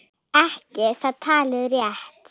Ekki er það talið rétt.